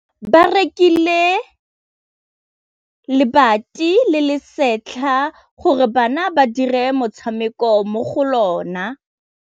Ba rekile lebati le le setlha gore bana ba dire motshameko mo go lona.